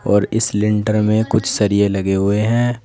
और इस लेंटर में कुछ सरिये लगे हुए हैं।